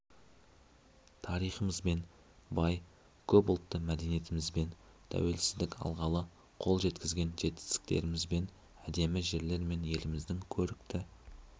тарихымызбен бай көп ұлтты мәдениетімізбен тәуелсіздік алғалы қол жеткізген жетістіктерімізбен әдемі жерлер мен еліміздің көрікті